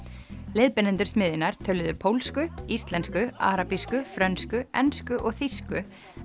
leiðbeinendur smiðjunnar töluðu pólsku íslensku arabísku frönsku ensku og þýsku